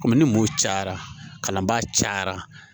Komi ni mun cayara kalanbaa cayara